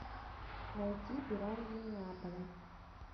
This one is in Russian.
найти пираньи неаполя